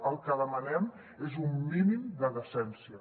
el que demanem és un mínim de decència